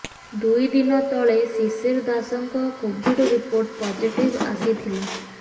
ଦୁଇ ଦିନ ତଳେ ଶିଶିର ଦାସଙ୍କ କୋଭିଡ ରିପୋର୍ଟ ପଜିଟିଭ ଆସିଥିଲା